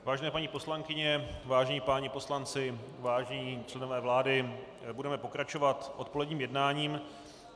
Vážení paní poslankyně, vážení páni poslanci, vážení členové vlády, budeme pokračovat odpoledním jednáním.